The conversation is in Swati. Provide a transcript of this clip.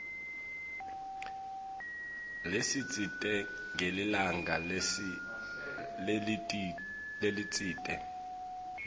lesitsite ngelilanga lelitsite